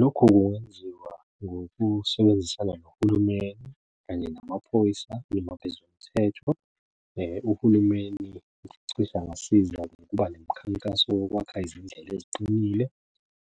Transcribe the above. Lokhu kungenziwa ngokusebenzisana nohulumeni kanye namaphoyisa noma abezomthetho. Uhulumeni cishe angasiza ukuba nemikhankaso yokwakha izindlela eziqinile